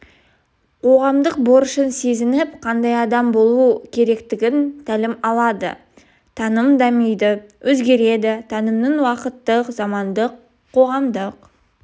қоғамдық борышын сезініп қандай адам болу керектігінен тәлім алады таным дамиды өзгереді танымның уақыттық замандық қоғамдық